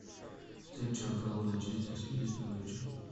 встреча апл манчестер сити с норвичем